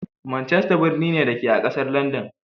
Manchester birni ne, da ke a ƙasar Landan.